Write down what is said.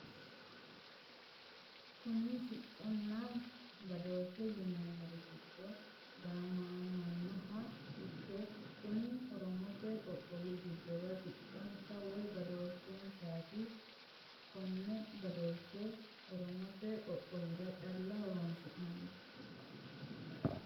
kuni sicconna badooshshe yineemori gido gaamamannoha ikke kuni oromote qoqowi dogara sicconsa woy badeeshensaati kone badooshshe oromote qooqowira calla horonsi'nanni.